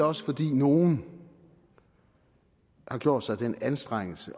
også fordi nogle har gjort sig den anstrengelse